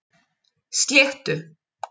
Sléttu